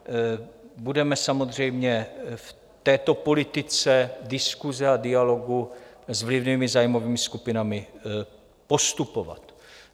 Budeme samozřejmě v této politice diskuse a dialogu s vlivnými zájmovými skupinami postupovat.